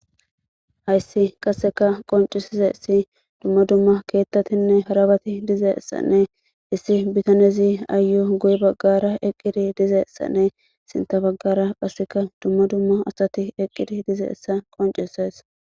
Hayssi qaseka qoncisizesi dumma dumma keettatinne harabati dizeessanne issi bitanezi aayu guy baggara eqqidi dizeessanne sinta baggara phasseka dumma dumma asati eqqidi dizeeessa qoncises.